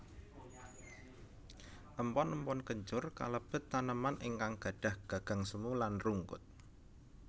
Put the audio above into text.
Empon empon kencur kalebet taneman ingkang gadhah gagang semu lan rungkut